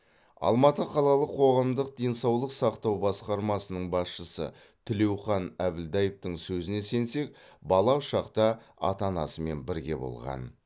алматы қалалық қоғамдық денсаулық сақтау басқармасының басшысы тілеухан әбілдаевтің сөзіне сенсек бала ұшақта ата анасымен бірге болған